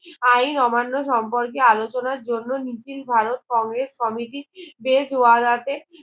আইন অমান্য সম্পর্কে আলোচনার জন্য নিখিল ভারত কংগ্রেস কমিটি দেশ বাড়াতে